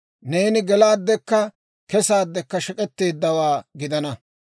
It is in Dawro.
«Neeni gelaaddekka kesaaddekka shek'etteeddawaa gidana.